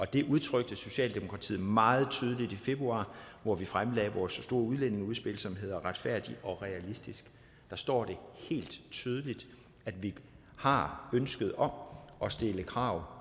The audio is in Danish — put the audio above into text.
det udtrykte socialdemokratiet meget tydeligt i februar hvor vi fremlagde vores store udlændingeudspil som hedder retfærdig og realistisk der står det helt tydeligt at vi har ønsket om at stille krav